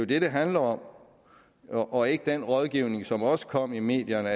det det handler om og ikke om den rådgivning som også kom i medierne